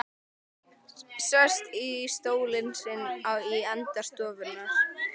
Sest í stólinn sinn í enda stofunnar.